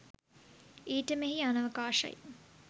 ඊට මෙහි අනවකාශයි.